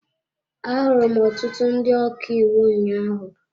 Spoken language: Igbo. Ahụrụ m ọtụtụ ndị ọka iwu ụnyaahụ.